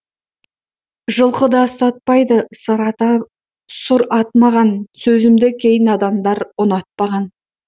жылқыда ұстатпайды сұр ат маған сөзімді кей надандар ұнатпаған